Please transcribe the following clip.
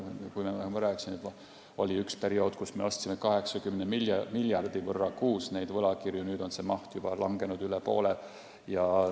Nagu ma rääkisin, oli üks periood, kui me ostsime 80 miljardi võrra kuus neid võlakirju, nüüd on see maht langenud juba üle poole.